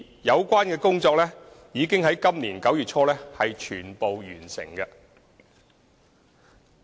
有關工作已於今年9月初全部完成。